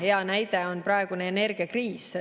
Hea näide on praegune energiakriis.